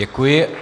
Děkuji.